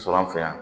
Sɔrɔ an fɛ yan